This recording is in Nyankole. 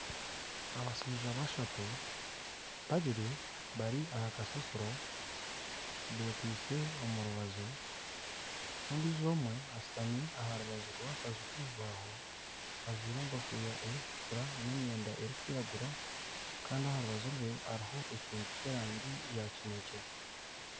Abashaija bashatu, babiri bari aha kasasiro bekwitse omu rubaju, n'ondiijo omwe ashutami aha rubaju rw'akaju kebibaho ajwire enkofiira erikutukura n'emyenda erikwiragura Kandi aha rubaju rwe hariho ekintu ky'erangi ya kinekye.